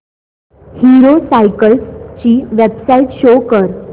hero Cycles ची website show कर